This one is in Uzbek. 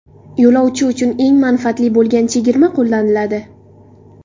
Yo‘lovchi uchun eng manfaatli bo‘lgan chegirma qo‘llaniladi.